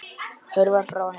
Hörfar frá henni.